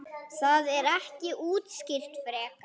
Það er ekki útskýrt frekar.